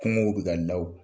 Kungow bɛ ka